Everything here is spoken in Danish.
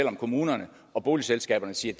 om kommunerne og boligselskaberne siger